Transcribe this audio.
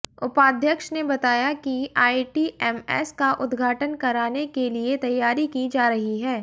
उपाध्यक्ष ने बताया कि आइटीएमएस का उद्घाटन कराने के लिए तैयारी की जा रही है